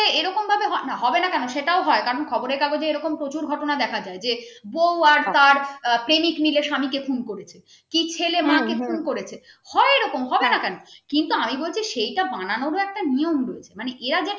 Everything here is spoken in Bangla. তাতে হই না কন হবে না কেন সেটাঅ ও কারণ খবরের কাগজে এরকম প্রচুর ঘটনা দেখা যায় বউ আর তার প্রেমিক মিলে স্বামীকে খুন করেছে কি ছেলে মাকে খুন করেছে হয় এরকম হবে না কেন কিন্তু আমি বলছি সেটা বানানোর একটা নিয়ম রয়েছে মানে এরা যেভাবে